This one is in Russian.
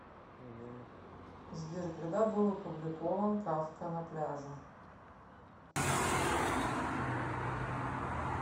сбер когда был опубликован кафка на пляже